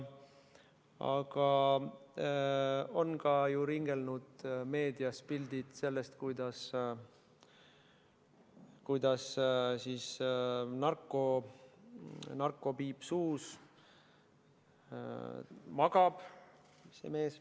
Aga on ka ju ringelnud meedias pildid sellest, kuidas, narkopiip suus, magab see mees.